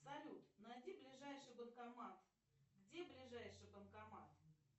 салют найди ближайший банкомат где ближайший банкомат